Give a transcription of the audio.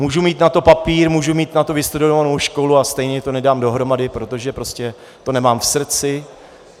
Můžu mít na to papír, můžu mít na to vystudovanou školu, a stejně to nedám dohromady, protože prostě to nemám v srdci.